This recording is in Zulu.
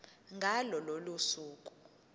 ngalo lolo suku